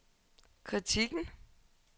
kritikken